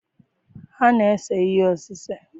Ha na-ese ihe osise.